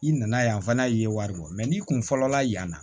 I nana yan fana i ye wari bɔ n'i kun fɔlɔ la yan